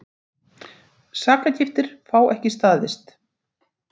Sakargiftir fá ekki staðist